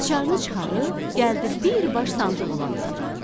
açarı çıxarıb gəldi birbaş sandıq olan otağa.